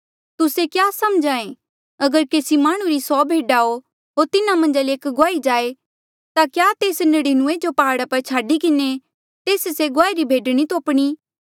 तुस्से क्या समझ्हा ऐें अगर केसी माह्णुं री सौ भेडा हो होर तिन्हा मन्झा ले एक गुआई जाए ता क्या तेस तिन्हा नड़िनूऐं जो प्हाड़ा पर छाडी किन्हें तेस से गुआई री भेड नी तोप्णी